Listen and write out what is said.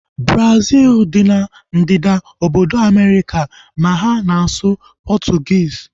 Brazil dị n'ebe ndịda obodo Amerịka ma ha na-asụ Portuguese